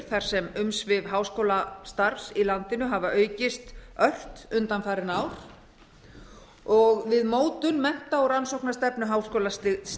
þar sem umsvif háskólastarfs í landinu hafa aukist ört undanfarin ár við mótun mennta og rannsóknastefnu háskólastigsins